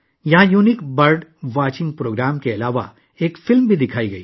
منفرد bird watching programme کے علاوہ یہاں ایک فلم بھی دکھائی گئی